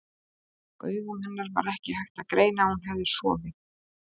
Á augum hennar var ekki hægt að greina að hún hefði sofið.